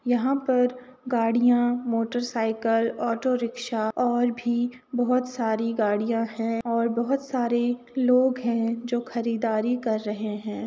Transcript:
यहां पर गाड़िया मोटरसाईकिल ऑटो रिक्शा और भी बहोत सारी गाडियाँ हैं और बहोत सारे लोग हैं जो खरीदारी कर रहे हैं ।